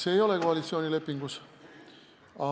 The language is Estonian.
See ei ole koalitsioonilepingus kirjas.